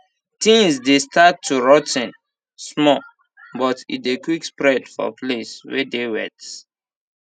tins dey start too rot ten small but e dey quick spread for place wey dey wet